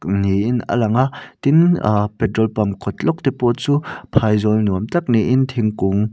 niin a langa tin ahh petrol pump kawt lawk te pawh chu phaizawl nuam tak ni in thingkung--